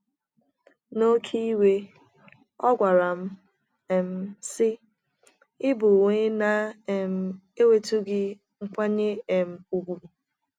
N’oké iwe, ọ gwara m, um sị: “ Ị bụ onye na - um enwetụghị nkwanye um ùgwù! ”